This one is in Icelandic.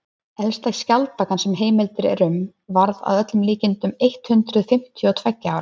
elsta skjaldbakan sem heimildir eru um varð að öllum líkindum eitt hundruð fimmtíu og tveggja ára